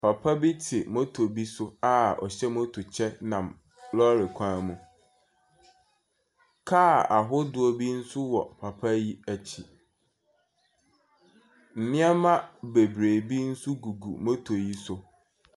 Papa bi te moto bi so a ɔhyɛ moto hyɛ nam lorry kwan mu. Car ahodoɔ bi nso wɔ papa yi akyi. Nneɛma bebiree bi nso gugu moto yi so.